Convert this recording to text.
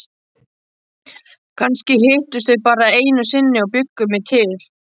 Kannski hittust þau bara einu sinni og bjuggu mig til.